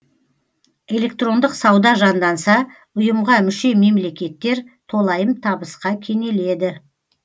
электрондық сауда жанданса ұйымға мүше мемлекеттер толайым табысқа кенеледі